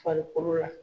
Farikolo la